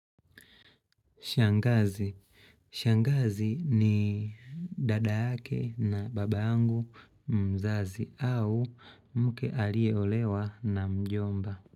Shangazi. Shangazi ni dada yake na baba yangu mzazi au mke aliyeolewa na mjomba.